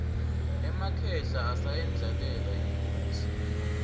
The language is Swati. emakhehla asayendlalele inkhosi